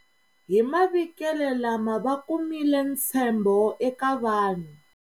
Hi mavikelo lama va kumile ntshembo eka vanhu.